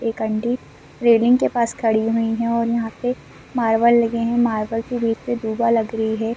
एक aunty railing के पास खड़ी हुई है और यहां पे मार्बल लगे हैं मार्बल के बीच में दूबा लग रही हैं ।